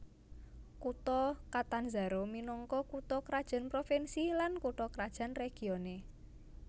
Kutha Catanzaro minangka kutha krajan provinsi lan kutha krajan regione